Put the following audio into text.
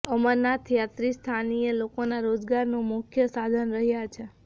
અમરનાથ યાત્રી સ્થાનીય લોકોના રોજગારનું મુખ્ય સાધન રહ્યા છે